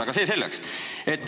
Aga see selleks.